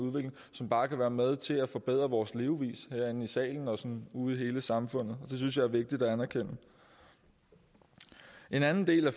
som bare kan være med til at forbedre vores levevis herinde i salen og sådan ude i hele samfundet det synes jeg er vigtigt at anerkende en anden del af